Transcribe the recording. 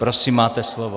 Prosím, máte slovo.